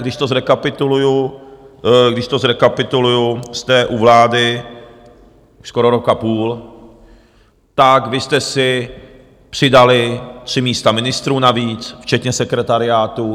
Když to zrekapituluji, jste u vlády už skoro rok a půl, tak vy jste si přidali tři místa ministrů navíc včetně sekretariátů.